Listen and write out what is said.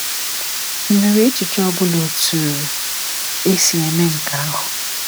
Ị nwere echiche ọ bụla otu esi eme nke ahụ?